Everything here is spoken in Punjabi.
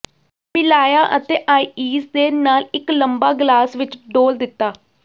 ਮਿਲਾਇਆ ਅਤੇ ਆਈਸ ਦੇ ਨਾਲ ਇੱਕ ਲੰਬਾ ਗਲਾਸ ਵਿੱਚ ਡੋਲ੍ਹ ਦਿੱਤਾ